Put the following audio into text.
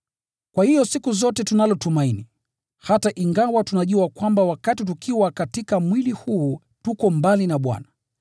Kwa hiyo siku zote tunalo tumaini, hata ingawa tunajua kwamba wakati tukiwa katika mwili huu, tuko mbali na Bwana,